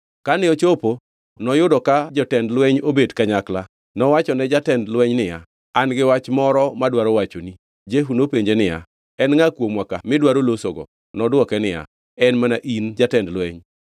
Kane ochopo noyudo ka jotend lweny obet kanyakla. Nowachone jatend lweny niya, “An-gi wach moro madwaro wachoni.” Jehu nopenje niya, “En ngʼa kuomwa ka midwaro losogo?” Nodwoke niya, “En mana in, jatend lweny.”